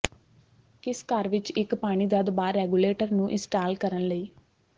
ਕਿਸ ਘਰ ਵਿਚ ਇੱਕ ਪਾਣੀ ਦਾ ਦਬਾਅ ਰੈਗੂਲੇਟਰ ਨੂੰ ਇੰਸਟਾਲ ਕਰਨ ਲਈ